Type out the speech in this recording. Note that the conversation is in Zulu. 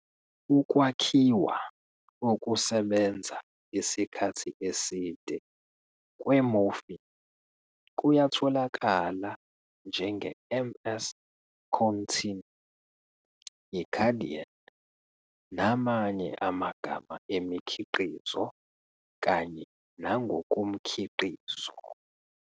Ukwakhiwa okusebenza isikhathi eside kwe-morphine kuyatholakala njenge-MS-Contin, iKadian, namanye amagama emikhiqizo kanye nangokomkhiqizo.